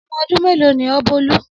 Ọmọ ọdún melo ni ọ Bolu?